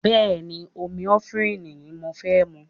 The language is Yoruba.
Bẹ́ẹ̀ ni, omi efinrin ni mo fẹ́ mu